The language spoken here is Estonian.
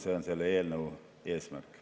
See on selle eelnõu eesmärk.